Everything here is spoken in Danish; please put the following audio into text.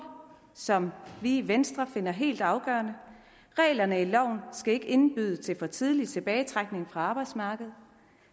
som vi i venstre finder helt afgørende reglerne i loven skal ikke indbyde til for tidlig tilbagetrækning fra arbejdsmarkedet